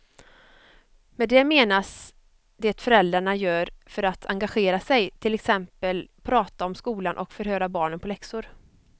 Med det menas det föräldrarna gör för att engagera sig, till exempel prata om skolan och förhöra barnen på läxor.